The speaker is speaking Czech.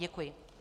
Děkuji.